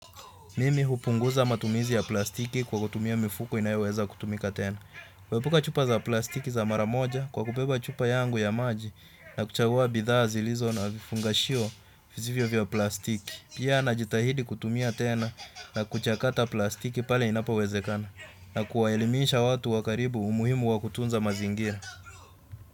Mimi hupunguza matumizi ya plastiki kwa kutumia mifuko inayoweza kutumika tena. Kuepuka chupa za plastiki za maramoja kwa kubeba chupa yangu ya maji, na kuchagua bidhaa zilizo na vifungashio visivyo vya plastiki. Pia na jitahidi kutumia tena na kuchakata plastiki pale inapowezekana, na kuwaelimisha watu wa karibu umuhimu wakutunza mazingira.